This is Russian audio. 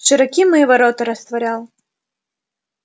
широки мои ворота растворял